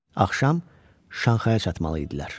Axşam Şanxaya çatmalı idilər.